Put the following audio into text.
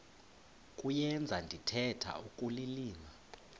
kuyenza ndithetha ukulilima